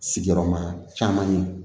Sigiyɔrɔma caman ye